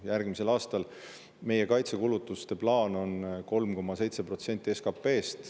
Järgmisel aastal meie kaitsekulutuste plaan on 3,7% SKP-st.